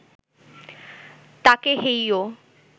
তাকে হেইয়ো